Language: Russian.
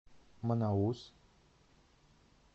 манаус